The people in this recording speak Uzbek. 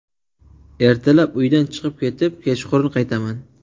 Ertalab uydan chiqib ketib, kechqurun qaytaman.